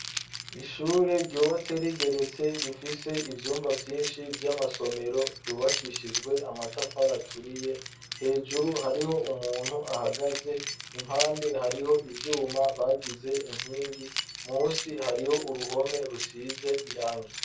Ishure ryubatse rigeretse rifise ivyumba vyinshi vy'amasomero ryubakishijwe amatafari aturiye hejuru hariho umuntu ahagaze impande hariho ivyuma bagize inkingi musi hariho uruhome rusize irangi.